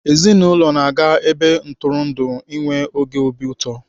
Ezinaụlọ na-aga ebe ntụrụndụ enwe oge obi ụtọ.